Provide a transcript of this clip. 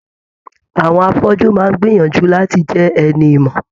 Àwọn afọju máa n gbìyànjú láti jẹ ẹni ìmọ.